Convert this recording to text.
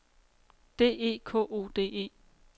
D E K O D E